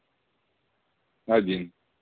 один